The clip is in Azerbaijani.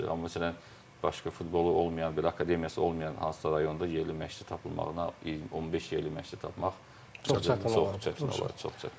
Amma məsələn, başqa futbolu olmayan, belə akademiyası olmayan hansısa rayonda yerli məşqçi tapılmağına 15 yerli məşqçi tapmaq çox çətin olar, çox çətin olar.